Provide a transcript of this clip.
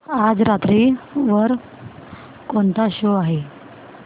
आज रात्री वर कोणता शो आहे